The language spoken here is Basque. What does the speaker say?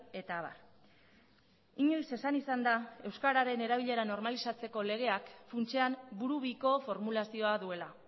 eta abar inoiz esan izan da euskararen erabilera normalizatzeko legeak funtsean burubiko formulazioa duela